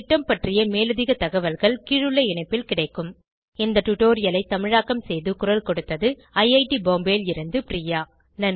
இந்த திட்டம் பற்றிய மேலதிக தகவல்கள் கீழுள்ள இணைப்பில் கிடைக்கும் இந்த டுடோரியலை தமிழாக்கம் செய்து குரல் கொடுத்தது ஐஐடி பாம்பேவில் இருந்து பிரியா